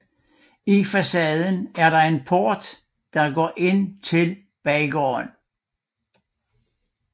I facaden er en port der går ind til baggården